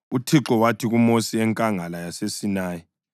UThixo wathi kuMosi eNkangala yaseSinayi,